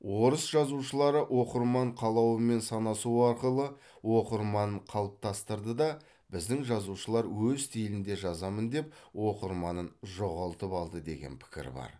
орыс жазушылары оқырман қалауымен санасу арқылы оқырманын қалыптастырды да біздің жазушылар өз стилінде жазамын деп оқырманын жоғалтып алды деген пікір бар